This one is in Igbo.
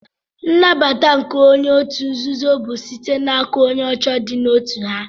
Nnabata nke onye otu nzuzo bu site na aka onye oche di na otu ha.